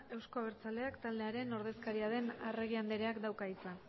euzko abertzaleak taldearen ordezkaria den arregi andreak dauka hitza